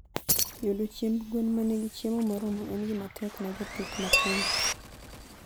Yudo chiemb gwen ma nigi chiemo moromo en gima tek ne jopith matindo.